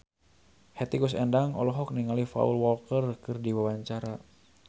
Hetty Koes Endang olohok ningali Paul Walker keur diwawancara